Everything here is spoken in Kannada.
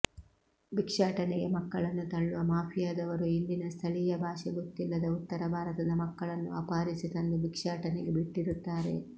ಭಿಕ್ಷಾಟನೆಗೆ ಮಕ್ಕಳನ್ನು ತಳ್ಳುವ ಮಾಫಿಯಾದವರು ಇಲ್ಲಿನ ಸ್ಥಳೀಯ ಭಾಷೆ ಗೊತ್ತಿಲ್ಲದ ಉತ್ತರ ಭಾರತದ ಮಕ್ಕಳನ್ನು ಅಪಹರಿಸಿ ತಂದು ಭಿಕ್ಷಾಟನೆಗೆ ಬಿಟ್ಟಿರುತ್ತಾರೆ